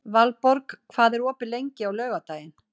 Valborg, hvað er opið lengi á laugardaginn?